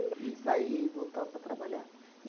E saía e voltava para trabalhar.